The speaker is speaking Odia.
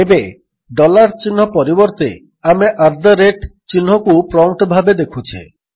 ଏବେ ଡଲାର୍ ଚିହ୍ନ ପରିବର୍ତ୍ତେ ଆମେ ଆଟ୍ ଦ ରେଟ୍ ଚିହ୍ନକୁ ପ୍ରମ୍ପ୍ଟ୍ ଭାବେ ଦେଖୁଛେ